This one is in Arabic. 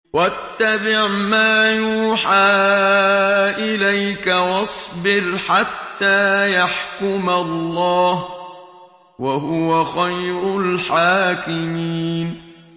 وَاتَّبِعْ مَا يُوحَىٰ إِلَيْكَ وَاصْبِرْ حَتَّىٰ يَحْكُمَ اللَّهُ ۚ وَهُوَ خَيْرُ الْحَاكِمِينَ